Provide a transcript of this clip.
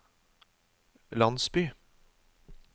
landsby